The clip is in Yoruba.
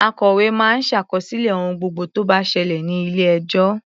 Akòwé máa ń ṣàkọsílẹ̀ ohun gbogbo tó bá ṣẹlẹ̀ ní ilé-ẹjọ́.